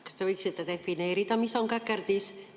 Kas te võiksite defineerida, mis on käkerdis?